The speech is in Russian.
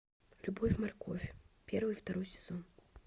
любовь морковь первый второй сезон